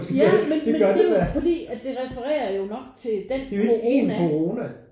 Ja men men det er jo fordi at det referer jo nok til den corona